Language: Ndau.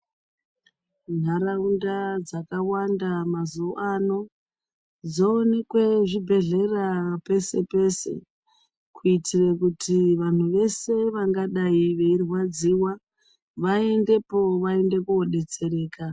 Munharaunda dzakawanda mazuwa ano, dzoonekwe zvibhedhlera pese-pese kuitire kuti vanhu vese vangadai veirwadziwa vaendepo vaende kodetsereka.